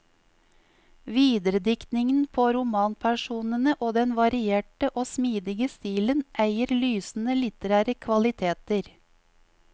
Viderediktningen på romanpersonene og den varierte og smidige stilen eier lysende litterære kvaliteter.